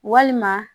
Walima